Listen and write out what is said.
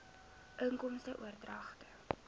inkomste oordragte